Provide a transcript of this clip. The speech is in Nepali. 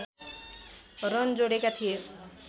रन जोडेका थिए